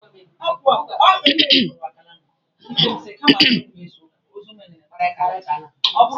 Emeka ji ọgba tum tum nna ya gaa ozi.